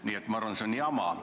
Nii et ma arvan, et see on jama.